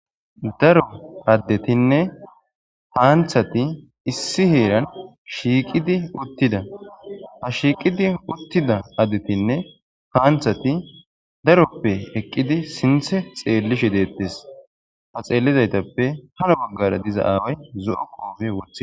daro addetinne panththati issi heeran shiiqidi uttidda ha shiiqidi uttidda addetinne panththatti daroppe eqqidi sinththe xeellishshe dettees ha xeellizaytappe hano baggara diza aaway zo7o qoofe wothi